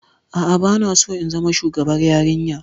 A'a, ba na so in zama shugabar yarinya.